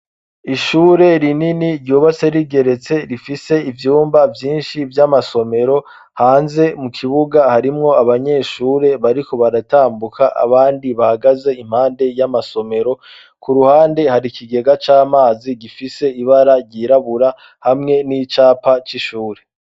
Ishure rinini ryubatse rigeretse rifise ivyumba vyinshi vy'amasomero, hanze mu kibuga harimwo abanyeshure bariko baratambuka abandi bahagaze, impande y'amasomero ku ruhande hari kigega c'amazi gifise ibara ryirabura hamwe n'icapa c'ishuri.